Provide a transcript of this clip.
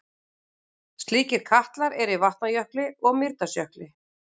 Slíkir katlar eru í Vatnajökli og Mýrdalsjökli.